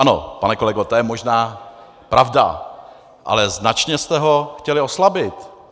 Ano, pane kolego, to je možná pravda, ale značně jste ho chtěli oslabit.